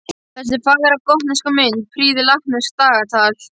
Þessi fagra gotneska mynd prýðir latneskt dagatal.